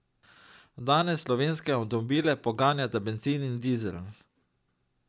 Danes slovenske avtomobile poganjata bencin in dizel.